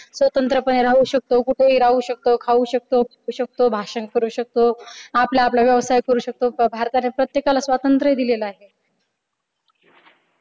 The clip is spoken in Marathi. स्वतंत्रपणे राहू शकतो, कुठे ही राहू शकतो, खाऊ शकतो, झोपू शकतो, भाषण करू शकतो, आपला आपला व्यवसायिक करू शकतो भारताने प्रत्येकाला स्वातंत्र्य दिलेला आहे.